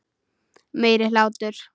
Meiri hlátur.